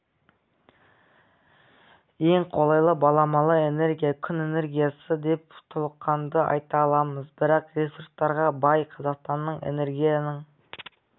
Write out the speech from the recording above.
ең қолайлы баламалы энергия күн энергиясы деп толыққанды айта аламыз бірақ ресурстарға бай қазақстанның энергияның